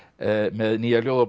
með nýja ljóðabók